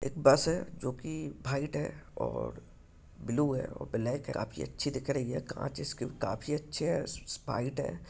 एक बस है जो की भाईट है और ब्लू है और ब्लाक है काफी अच्छी दिख रही है काच इसके काफी अच्छे है स् स् स्पाईट है।